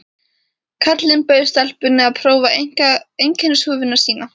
Karlinn bauð stelpunni að prófa einkennishúfuna sína.